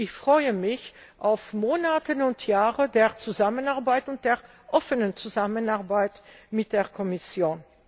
Ich freue mich auf Monate und Jahre der Zusammenarbeit und der offenen Zusammenarbeit mit der Kommission.